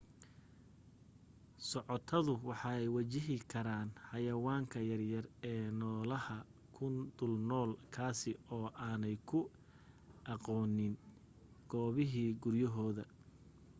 socotadu waxay wajihi karaan xayayaanka yaryar ee noolaha ku dulnool kaasi oo aanay ku aqoonin goobihii guryahooda